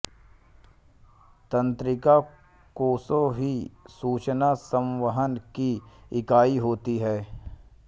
तंत्रिका कोशा ही सूचना संवहन की इकाई होती है